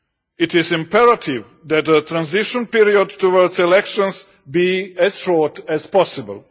It is imperative that the transition period towards elections be as short as possible.